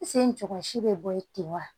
si bɛ bɔ yen ten wa